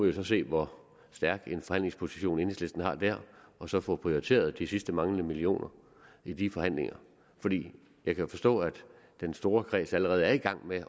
jo så se hvor stærk en forhandlingsposition enhedslisten har der og så få prioriteret de sidste manglende millioner i de forhandlinger jeg kan forstå at den store kreds allerede er i gang med